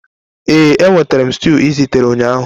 Ee, enwetara m stew ị zitere ụnyaahụ.